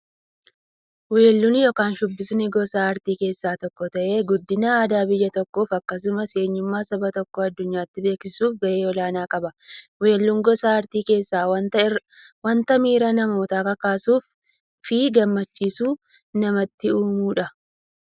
Weelluun yookin shubbifni gosa aartii keessaa tokko ta'ee, guddina aadaa biyya tokkoof akkasumas eenyummaa saba tokkoo addunyyaatti beeksisuuf gahee olaanaa qaba. Weelluun gosa artii keessaa wanta miira namootaa kakaasuufi gammachuu namatti uummudha.